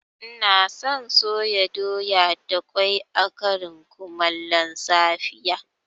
Ina son soya doya da ƙwai a ƙarin kumallon safiya